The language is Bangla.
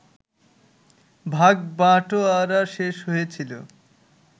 ভাগবাঁটোয়ারা শেষ হয়েছিল